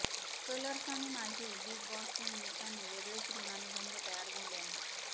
colours आणि माझे big बॉसच्या निमित्ताने वेगळेच ऋणानुबंध तयार झाले आहे